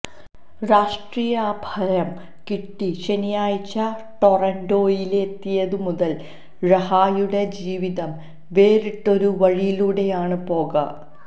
രാഷ്ട്രീയാഭയം കിട്ടി ശനിയാഴ്ച ടൊറന്റോയിലെത്തിയതുമുതൽ റഹായുടെ ജീവിതം വേറിട്ടൊരു വഴിയിലൂടെയാണ് പോക